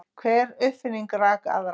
Hver upprifjunin rak aðra.